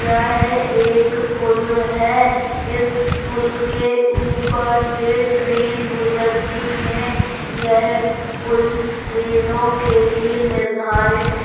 यह एक पूल है| इस पूल के ऊपर से ट्रेन गुजरती है| यह पुल ट्रेनों के लिए निर्धारित--